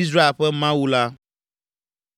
Israel ƒe Mawu la.